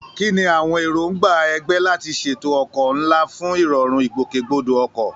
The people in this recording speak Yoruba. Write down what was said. Kí ni àwọn èròǹgbà ẹgbẹ́ láti ṣètò ọkọ̀ ńlá fún ìrọ̀rùn ìgbòkègbodò ọkọ̀?